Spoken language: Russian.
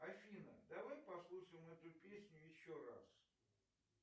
афина давай послушаем эту песню еще раз